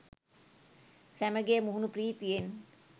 සැමගේ මුහුණු ප්‍රීතියෙත්